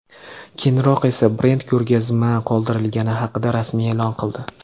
Keyinroq esa brend ko‘rgazma qoldirilgani haqida rasmiy e’lon qildi.